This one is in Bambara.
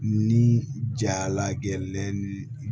Ni jala gɛlɛn ni